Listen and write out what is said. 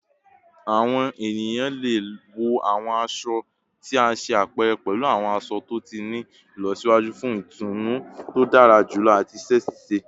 Awọn eniyan le wọ awọn aṣọ ti a ṣe apẹrẹ pẹlu awọn aṣọ to ti ni ilọsiwaju fun itunu to dara julọ ati iṣẹ ṣiṣe